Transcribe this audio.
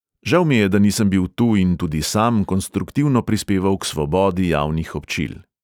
Žal mi je, da nisem bil tu in tudi sam konstruktivno prispeval k svobodi javnih občil.